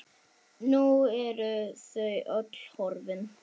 Nú eru þau öll horfin.